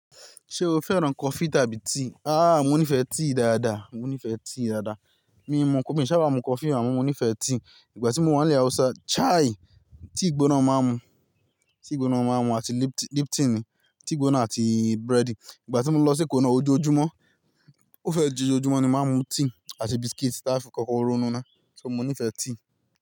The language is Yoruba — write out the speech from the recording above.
Ṣé o fẹ́ran coffee tàbí tea? Ah, mo nífẹ̀ẹ́ tea dáadáa, mo nífẹ̀ẹ́ tea dáadáa. Mi ò n mu coffee, mi n ṣàbá mu coffee àmọ́ mo nífẹ̀ẹ́ tea. Ìgbà tí mo wà ní ilẹ̀ Hausa, chai! Tea ìgbóná máa ń mu, tea ìgbóná máa ń mu àti lip-- lip tea ni, tea ìgbóná àti búrẹ́dì. Ìgbà tí mo lọ sí Èkó náà, ojoojúmọ́, ó fẹ́ jo, ojoojúmọ́ ni máa ń mu tea àti biscuit táa fi kọ́kọ́ ronú ná. So, mo nífẹ̀ẹ́ tea.